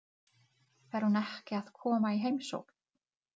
Engum hefur tekist að finna gullið.